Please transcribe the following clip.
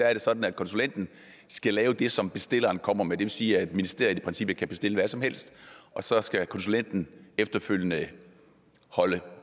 er sådan at konsulenten skal lave det som bestilleren kommer med det vil sige at ministeriet i princippet kan bestille hvad som helst og så skal konsulenten efterfølgende holde